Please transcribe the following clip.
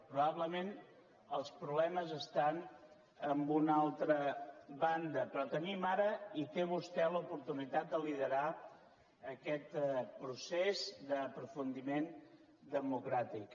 probablement els problemes estan en una altra banda però tenim ara i té vostè l’oportunitat de liderar aquest procés d’aprofundiment democràtic